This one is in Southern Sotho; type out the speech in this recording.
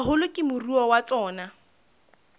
haholo ke moruo wa tsona